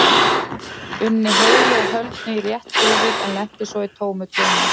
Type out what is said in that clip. unni heilu og höldnu í rétt höfuð en lenti svo í tómu tjóni.